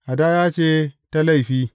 Hadaya ce ta laifi.